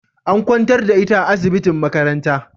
An kwantar da ita a asibitin makaranta